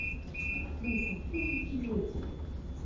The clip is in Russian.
актриса тысячелетия